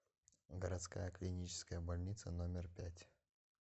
городская клиническая больница номер пять